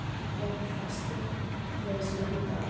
Er einhver fasti til þess að lenda á?